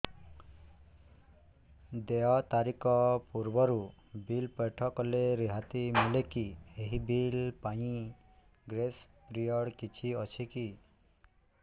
ଦେୟ ତାରିଖ ପୂର୍ବରୁ ବିଲ୍ ପୈଠ କଲେ ରିହାତି ମିଲେକି ଏହି ବିଲ୍ ପାଇଁ ଗ୍ରେସ୍ ପିରିୟଡ଼ କିଛି ଅଛିକି